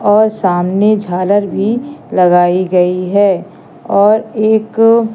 और सामने झालर भी लगाई गई है और एक--